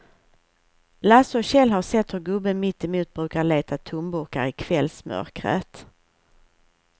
Lasse och Kjell har sett hur gubben mittemot brukar leta tomburkar i kvällsmörkret.